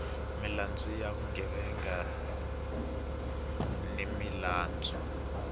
milandzu ya vugevenga ni milandzu